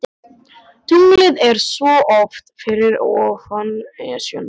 Tunglið er svo oft fyrir ofan Esjuna.